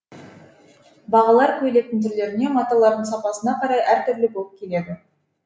бағалар көйлектің түрлеріне маталарының сапасына қарай әр түрлі болып келеді